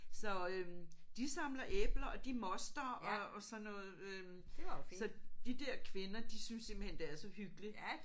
Så øh de samler æbler og de moster og og sådan noget øh så de der kvinder de synes simpelthen det er så hyggeligt